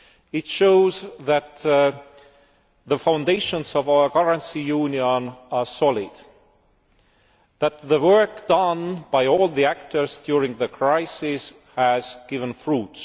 It shows that the foundations of our currency union are solid, that the work done by all the actors during the crisis has borne fruit.